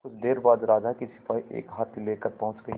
कुछ देर बाद राजा के सिपाही एक हाथी लेकर पहुंच गए